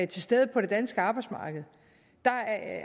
til stede på det danske arbejdsmarked